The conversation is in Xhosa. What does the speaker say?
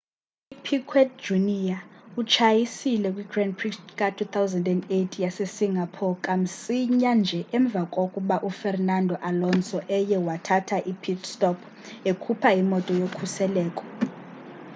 upiquet jr utshayisile kw grand prix ka-2008 yase singapore kamsinya nje emva kokba ufernando alonso eye wathatha i-pit stop ekhupha imoto yokhuseleko